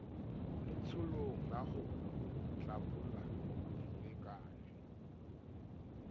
letsholong la ho tlabola dilekane